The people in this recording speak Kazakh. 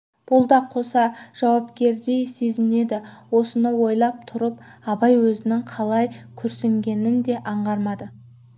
бұл да қоса жауапкердей сезінеді осыны ойлап тұрып абай өзінің қалай күрсінгенін де аңғармады